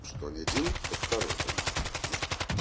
что не один то второй дома ну